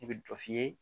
I bɛ dɔ f'i ye